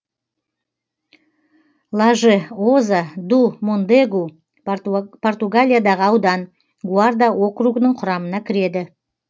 лажеоза ду мондегу португалиядағы аудан гуарда округінің құрамына кіреді